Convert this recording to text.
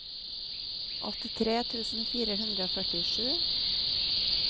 åttitre tusen fire hundre og førtisju